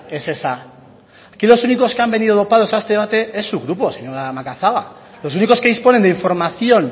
es esa aquí los únicos que han venido dopados a este debate es su grupo señora macazaga los únicos que disponen de información